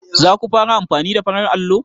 Za ku fara amfani da farar allo?